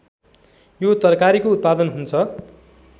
यो तरकारीको उत्पादन हुन्छ